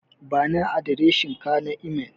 Bani adireshinka na imel.